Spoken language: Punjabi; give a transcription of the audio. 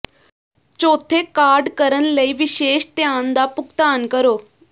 ਚੌਥੇ ਕਾਰਡ ਕਰਨ ਲਈ ਵਿਸ਼ੇਸ਼ ਧਿਆਨ ਦਾ ਭੁਗਤਾਨ ਕਰੋ